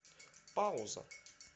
пауза